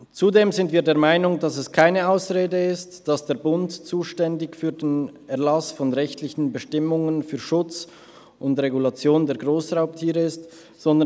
Zudem sind wir der Meinung, dass es keine Ausrede ist, dass der Bund für den Erlass von rechtlichen Bestimmungen für Schutz und Regulation der Grossraubtiere zuständig ist.